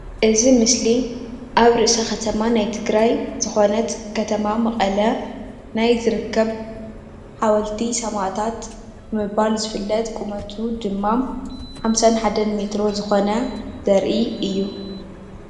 እዚ ምስሊ ኣብ ርእሰ ከተማ ናይ ትግራይ ዝኮነት ከተማ መቀለ ናይ ዝርከብ ሓወልቲ ሰማእታት ብምባል ዝፍለጥ ቁመቱ ድማ 51 ሜትሮ ዝኮነ ዘርኢ እዩ፡፡